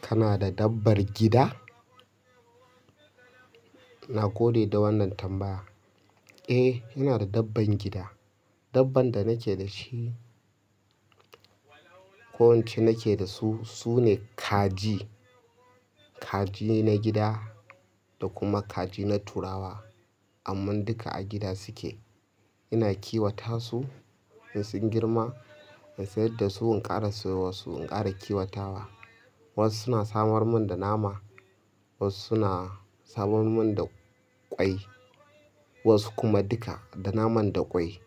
Kana da dabbar gida? Na gode da wannan tambaya. Eh, ina da dabban gida. Dabban da nake da shi, ko in ce nake da su, su ne kaji. Kaji na gida da kuma kaji na turawa. Amman duka a gida suke. Ina kiwata su in sun girma in siyar da su in ƙara siyo wasu in ƙara kiwata wa. Wasu suna samar mun da nama, wasu suna samar mun da ƙwai, wasu kuma duka, da naman da ƙwai.